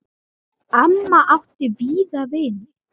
Já, amma átti víða vini.